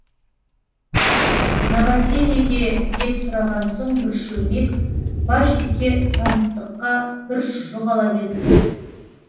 новосельеге деп сұраған соң бір шөлмек барсикке таныстыққа бір шұжық ала келдік